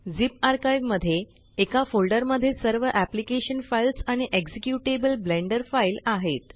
zip archive मध्ये एका folder मध्ये सर्व अप्लिकेशन फाइल्स आणि एक्झिक्युटेबल ब्लेंडर फाइल आहेत